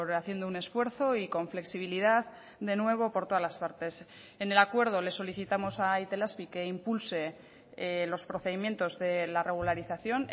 haciendo un esfuerzo y con flexibilidad de nuevo por todas las partes en el acuerdo le solicitamos a itelazpi que impulse los procedimientos de la regularización